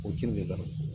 O ji nin de ka di